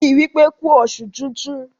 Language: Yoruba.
ki wípé ku oṣù tintun!